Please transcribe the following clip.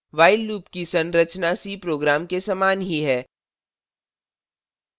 while loop की संरचना c program के समान ही है